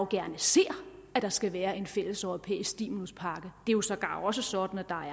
gerne ser at der skal være en fælles europæisk stimuluspakke det er sågar også sådan at